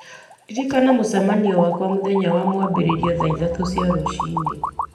ndirikania mũcemanio wakwa mũthenya wa mwambĩrĩrio thaa ithatũ rũci-inĩ